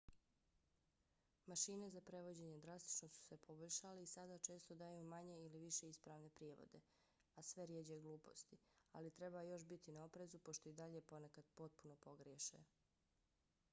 mašine za prevođenje drastično su se poboljšale i sada često daju manje ili više ispravne prijevode a sve rjeđe gluposti ali treba još biti na oprezu pošto i dalje ponekad potpuno pogriješe